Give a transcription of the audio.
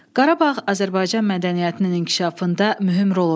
Qarabağ Azərbaycan mədəniyyətinin inkişafında mühüm rol oynayıb.